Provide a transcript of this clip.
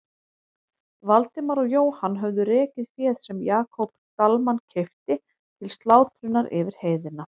Valdimar og Jóhann höfðu rekið féð sem Jakob Dalmann keypti til slátrunar yfir heiðina.